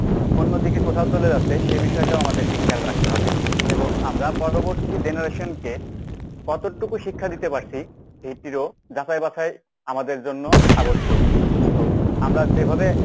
অন্যদিকে কোথাও চলে যাচ্ছে সে বিষয়টাও আমাদেরকে খেয়াল রাখতে হবে। এবং আমরা পরবর্তী generation কে কতটুকু শিক্ষা দিতে পারছি এটিরও যাচাই বাছাই আমাদের জন্য আবশ্যক। তো আমরা যেভাবে